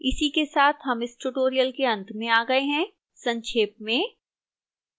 इसी के साथ हम इस tutorial के अंत में आ गए हैं संक्षेप में